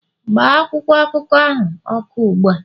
gbaa akwụkwọ akụkọ ahụ ọkụ ugbu a